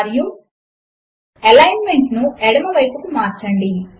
మరియు ఎలైన్మెంట్ ను ఎడమ వైపుకు మార్చండి